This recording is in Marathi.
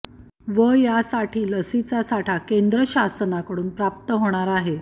व यासाठी लसीचा साठा केंद्र शासनाकडून प्राप्त होणार आहे